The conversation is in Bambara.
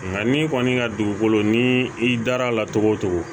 Nka ni kɔni ka dugukolo ni i dar'a la cogo o cogo